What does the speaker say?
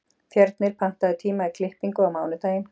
Fjörnir, pantaðu tíma í klippingu á mánudaginn.